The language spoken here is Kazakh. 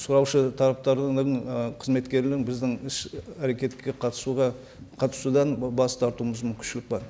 сұраушы тараптардың ы қызметкерінің біздің іс әрекетке қатысуға қатысудан бас тартуымыз мүмкіншілік бар